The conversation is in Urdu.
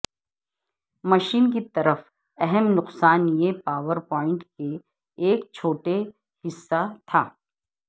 مشین کی صرف اہم نقصان یہ پاور پلانٹ کے ایک چھوٹے حصہ تھا